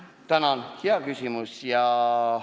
Tänan, hea küsimus!